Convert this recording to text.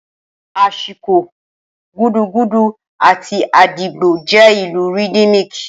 Ashiko, gudugudu, àti agidigbo jẹ́ ìlù rhythmic.